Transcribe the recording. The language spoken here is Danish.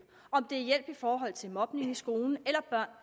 i forhold til mobbes i skolen eller